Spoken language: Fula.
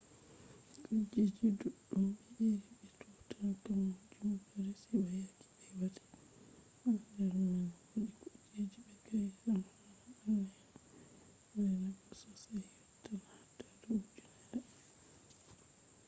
kujeji ɗuɗɗum ɓe iri be tutankamun ɗo resi ba yake ɓe wati ɗum ha nder man wodi kujeji be ka’e zamanu naneno je mari hafu sosai yottatn adadu ujunerre